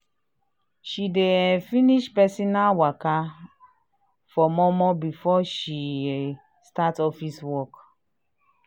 she dey um finish personal waka um for mor mor before she um start office work.